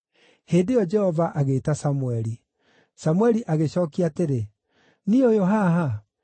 Hĩndĩ ĩyo Jehova agĩĩta Samũeli. Samũeli agĩcookia atĩrĩ, “Niĩ ũyũ haha.”